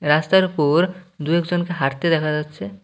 রাস্তার উপর দু-এক জনকে হাঁটতে দেখা যাচ্ছে।